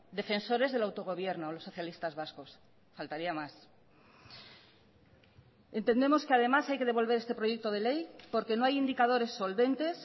defensores del autogobierno los socialistas vascos faltaría más entendemos que además hay que devolver este proyecto de ley porque no hay indicadores solventes